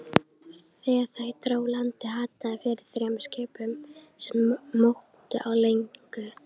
Þegar nær dró landi, hattaði fyrir þremur skipum, sem móktu á legunni.